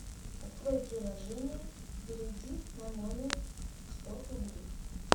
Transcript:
открой приложение и переведи на номер сто рублей